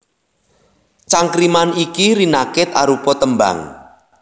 Cangkriman iki rinakit arupa tembang